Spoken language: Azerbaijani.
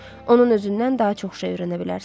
Onun özündən daha çox şey öyrənə bilərsən.